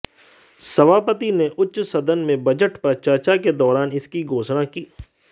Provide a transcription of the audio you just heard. सभापति ने उच्च सदन में बजट पर चर्चा के दौरान इसकी घोषणा की